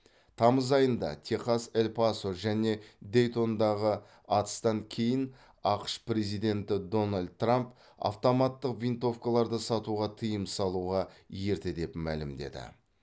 тамыз айында техас эль пасо және дейтондағы атыстан кейін ақш президенті дональд трамп автоматтық винтовкаларды сатуға тыйым салуға ерте деп мәлімдеді